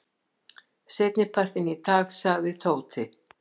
Seinnipartinn í dag sagði Tóti.